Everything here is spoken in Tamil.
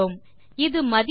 இது மதிப்பை 1 ஆல் அதிகரிக்கும்